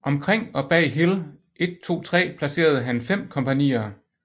Omkring og bag Hill 123 placerede han 5 kompagnier